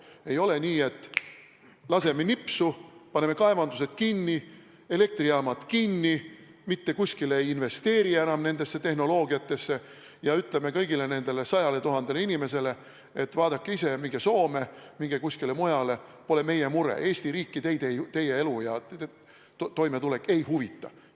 Ei ole nii, et laseme sõrmega nipsu, paneme kaevandused kinni, elektrijaamad kinni, ei investeeri enam nendesse tehnoloogiatesse ja ütleme kõigile neile 100 000 inimesele, et vaadake ise, minge Soome, minge kuskile mujale – pole meie mure, Eesti riiki teie elu ja toimetulek ei huvita.